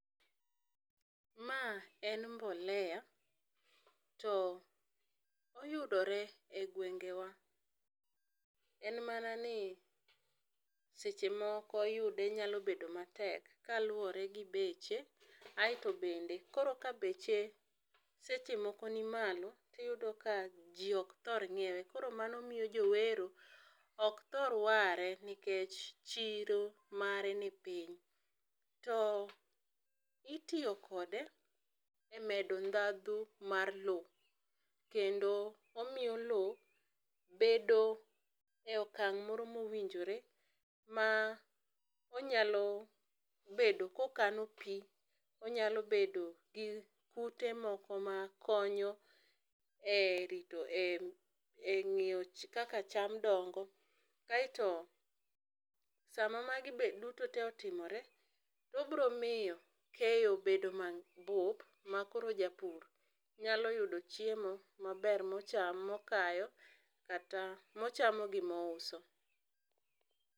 Ma en mbolea to oyudore e gwengewa en mana ni seche moko yude nyalo nyalo bedo ma tek kaluore gi beche. Aito bende koro ka beche seche moko ni malo to iyudo ka ji ok thor ng'iewe koro mano miyo jo wero ok thor ware nikech chiro mare ni piny. To itiyo kode e medo dhandhu mar loo .Kendo omiyo loo bedo e okang' moro ma owinjore ma onyalo bedo ka okano pi, onyalo bedo gi kute moko ma konyo e rito e ngiyo kaka cham dongo, kaito saa ma ma magi be duto te otimore, obiro miyo keyo bedo ma bup ma koro japur nyalo yudo chiemo ma ber ma ochamo, ma okayo ,kata ma ochamo, gi ma ouso